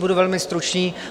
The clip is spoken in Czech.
Budu velmi stručný.